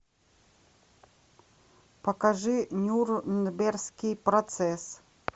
покажи нюрнбергский процесс